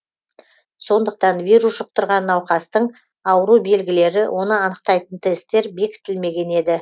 сондықтан вирус жұқтырған науқастың ауру белгілері оны анықтайтын тесттер бекітілмеген еді